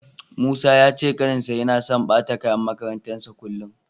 Musa ya ce ƙaninsa yana so ɓata kayan makarantarsa kullum.